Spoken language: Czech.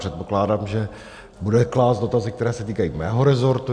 Předpokládám, že bude klást dotazy, které se týkají mého resortu.